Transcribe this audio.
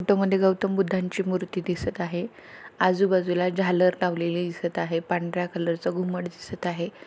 Photo मध्ये गौतम बुद्धांची मूर्ती दिसत आहे. आजूबाजूला झालर लावलेले दिसत आहे. पांढऱ्या कलरच घुमट दिसत आहे.